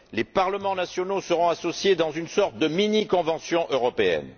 Les parlements nationaux seront associés dans une sorte de mini convention européenne.